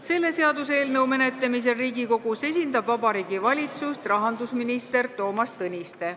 Selle seaduseelnõu menetlemisel Riigikogus esindab Vabariigi Valitsust rahandusminister Toomas Tõniste.